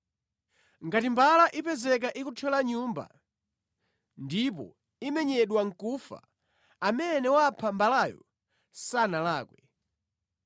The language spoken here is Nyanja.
“Ngati mbala ipezeka ikuthyola nyumba ndipo imenyedwa nʼkufa, amene wapha mbalayo sanalakwe.